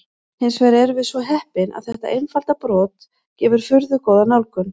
Hins vegar erum við svo heppin að þetta einfalda brot gefur furðu góða nálgun.